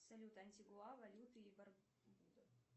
салют антигуа валюта